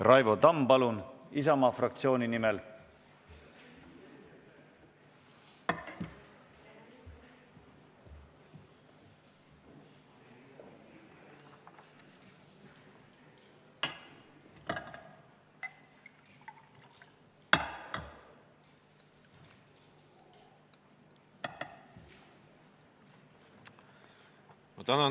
Raivo Tamm, palun, Isamaa fraktsiooni nimel!